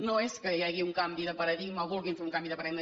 no és que hi hagi un canvi de paradigma o que vulguin fer un canvi de paradigma